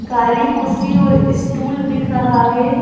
काली कुर्सी और स्टूल दिख रहा है।